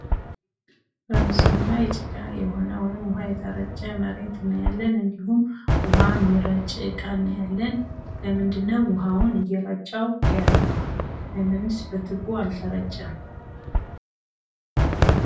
በምስሉ ላይ ጭቃ የሆነ ወይም ውሀ የተረጨ መሬት እናያለን። እንዲሁም ውሀ የሚረጭ እቃ እናያለን። ለምንድነው ውሀውን እየረጨው ያለው ?ለምንስ በቱቦ አልተረጨም።